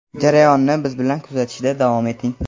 Jarayonni biz bilan kuzatishda davom eting.